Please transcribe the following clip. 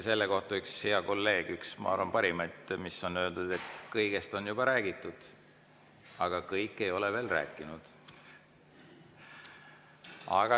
Selle kohta üks hea kolleeg ütles – see on parimaid asju, mida on öeldud –, et kõigest on juba räägitud, aga kõik ei ole veel rääkinud.